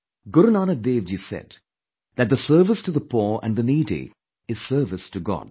Guru Nanak Devji said that the service to the poor and the needy is service to God